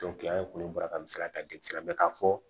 an ye ko baara min sara ka di a ma ka fɔ